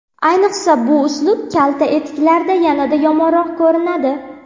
Ayniqsa, bu uslub kalta etiklarda yanada yomonroq ko‘rinadi.